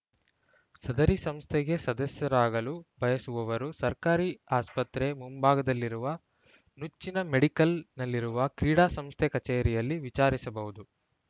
ಸದರಿ ಸಂಸ್ಥೆಗೆ ಸದಸ್ಯರಾಗಲು ಬಯಸುವವರು ಸರ್ಕಾರಿ ಆಸ್ಪತ್ರೆ ಮುಂಭಾಗದಲ್ಲಿರುವ ನುಚ್ಚಿನ ಮೆಡಿಕಲ್‌ನಲ್ಲಿರುವ ಕ್ರೀಡಾ ಸಂಸ್ಥೆ ಕಚೇರಿಯಲ್ಲಿ ವಿಚಾರಿಸಬಹುದು